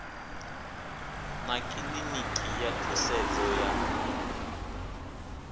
na kiḽiniki ya thusedzo ya